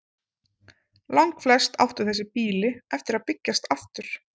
Langflest áttu þessi býli eftir að byggjast aftur.